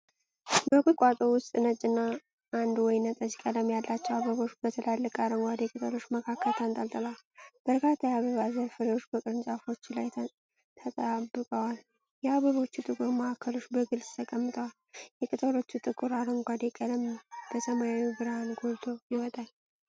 በቁጥቋጦ ውስጥ ነጭ እና አንድ ወይንጠጅ ቀለም ያላቸው አበቦች በትላልቅ አረንጓዴ ቅጠሎች መካከል ተንጠልጥለዋል። በርካታ የአበቦች ዘር ፍሬዎች በቅርንጫፎቹ ላይ ተጣብቀዋል። የአበቦቹ ጥቁር ማዕከሎች በግልጽ ተቀምጠዋል፤ የቅጠሎቹ ጥቁር አረንጓዴ ቀለም በሰማዩ ብርሃን ጎልቶ ይወጣል።